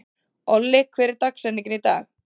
Olli, hver er dagsetningin í dag?